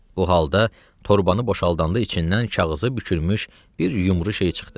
Bu halda torbanı boşaldanda içindən kağızı bükülmüş bir yumru şey çıxdı.